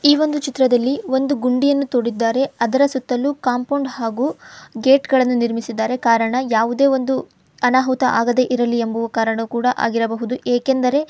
ಈ ಒಂದು ಚಿತ್ರದಲ್ಲಿ ಒಂದು ಗುಂಡಿಯನ್ನು ತೋಡಿದ್ದಾರೆ ಅದರ ಸುತ್ತಲೂ ಕಾಂಪೌಂಡ್ ಆಗೋ ಗೇಟ್ಗಳನ್ನು ನಿಲ್ಲಿಸಿದ್ದಾರೆ ಕಾರಣ ಯಾವುದೇ ಒಂದು ಅನಾಹುತ ಆಗದೆ ಇರಲಿ ಎಂಬ ಕಾರಣ ಆಗಿರಬಹುದು ಏಕೆಂದರೆ --